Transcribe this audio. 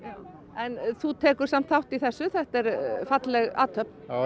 en þú tekur samt þátt í þessu þetta er falleg athöfn